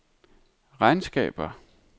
regnskaber